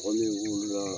Kɔmin la